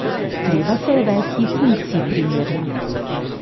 Treba se je vesti funkciji primerno.